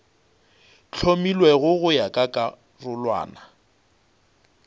hlomilwego go ya ka karolwana